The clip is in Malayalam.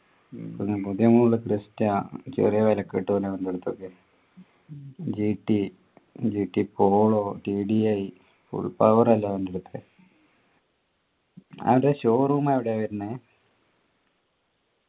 ഉം പിന്നെ പുതിയ model ക്രിസ്റ്റ ചെറിയ വിലക്ക് കിട്ടുഅല്ലോ അവൻ്റെ അടുത്തൊക്കെ gtgt പോളോ tdifull power അല്ലെ വണ്ടിടെ ഒക്കെ അവൻ്റെ show room എവിടെയാ വരുന്നേ